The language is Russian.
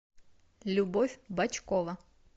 любовь бочкова